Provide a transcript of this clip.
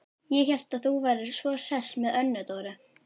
Ég hélt að þú værir svo hress með Önnu Dóru.